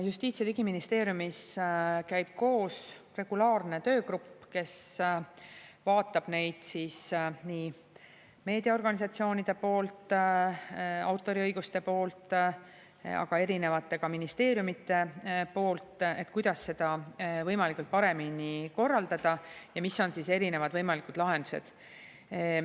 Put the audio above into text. Justiits‑ ja Digiministeeriumis käib regulaarselt koos töögrupp, kes vaatab nii meediaorganisatsioonide, autoriõiguste, aga ka erinevate ministeeriumite, kuidas seda võimalikult paremini korraldada ja mis on erinevad võimalikud lahendused.